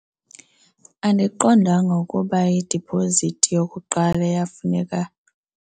Andiqondanga ukuba idiphozithi yokuqala iyafuneka.